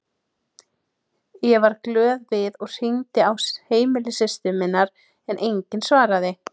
Ég varð glöð við og hringdi á heimili systur minnar en enginn svaraði.